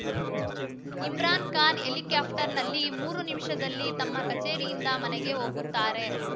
ಇಮ್ರಾನ್‌ ಖಾನ್‌ ಹೆಲಿಕಾಪ್ಟರ್‌ನಲ್ಲಿ ಮೂರು ನಿಮಿಷದಲ್ಲಿ ತಮ್ಮ ಕಚೇರಿಯಿಂದ ಮನೆಗೆ ಹೋಗುತ್ತಾರೆ